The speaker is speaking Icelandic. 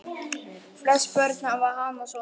Flest börn hafa hana svona